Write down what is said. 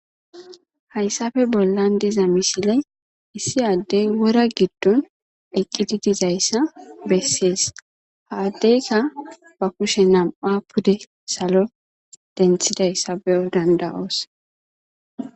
Hayssape bollan diza misiley issi addey wora giddon eqqidi dizayssa bessees haaddeyka ba kushe nam'a pude salo denthidayssa beyo danda'oos.